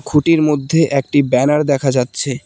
খুঁটির মধ্যে একটি ব্যানার দেখা যাচ্ছে।